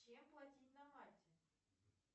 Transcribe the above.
чем платить на мальте